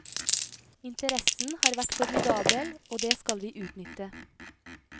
Interessen har vært formidabel, og det skal vi utnytte.